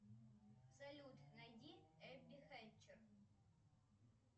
салют найди эбби хэтчер